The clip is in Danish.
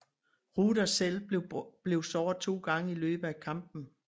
Rudder selv blev såret to gange i løbet af kampen